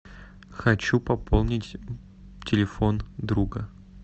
хочу пополнить телефон друга